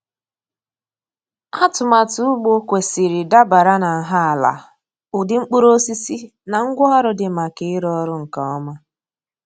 Atụmatụ ugbo kwesịrị dabara na nha ala, ụdị mkpụrụosisi, na ngwaọrụ dị maka ịrụ ọrụ nke ọma.